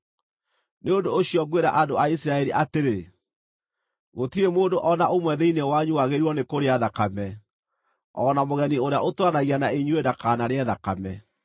Nĩ ũndũ ũcio ngwĩra andũ a Isiraeli atĩrĩ, “Gũtirĩ mũndũ o na ũmwe thĩinĩ wanyu wagĩrĩirwo nĩ kũrĩa thakame, o na mũgeni ũrĩa ũtũũranagia na inyuĩ ndakanarĩe thakame.”